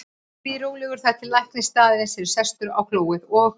Ég bíð rólegur þar til læknir staðarins er sestur á klóið og